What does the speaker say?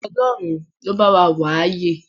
Ọlọ́run ló bá wa wà á yè